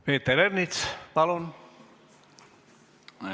Peeter Ernits, palun!